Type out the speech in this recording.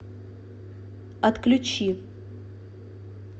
отключи